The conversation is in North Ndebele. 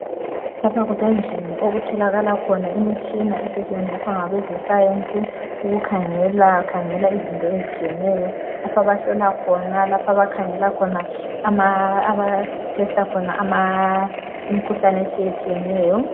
Lapha kusendlini okutholakala imitshina okutholakala khona imitshina esetshenziswa ngabe ze science ukukhangela izinto ezitshiyeneyo lapha abahlola khona lapha abakhangela khona abatester khona ama imikhuhlane etshiyetshiyeneyo